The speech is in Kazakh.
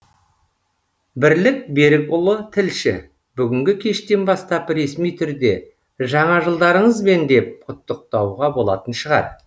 бірлік берікұлы тілші бүгінгі кештен бастап ресми түрде жаңа жылдарыңызбен деп құттықтауға болатын шығар